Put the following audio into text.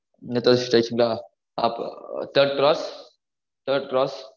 third cross third cross